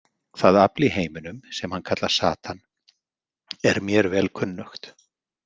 Það afl í heiminum sem hann kallar Satan er mér vel kunnugt.